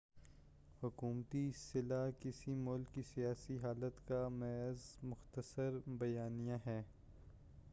حکومتی صلاح کسی ملک کی سیاسی حالت کا محض مختصر بیانیہ ہے